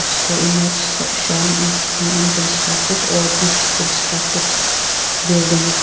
the image shown is disconstructed or unconstricted building.